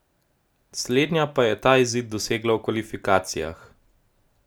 Slednja pa je ta izid dosegla v kvalifikacijah.